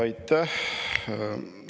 Aitäh!